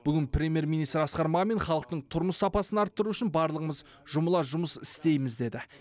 бүгін премьер министр асқар мамин халықтың тұрмыс сапасын арттыру үшін барлығымыз жұмыла жұмыс істейміз деді